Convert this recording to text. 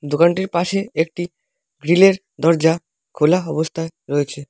দোকানটির পাশে একটি গ্রিলের দরজা খোলা অবস্থায় রয়েছে।